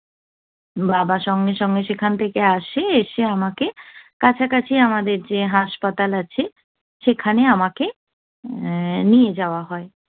বাবা সঙ্গে সঙ্গে সেখান থেকে আসে, এসে আমাকে কাছাকাছি আমাদের যে হাসপাতাল আছে, সেখানে আমাকে উহ নিয়ে যাওয়া হয়।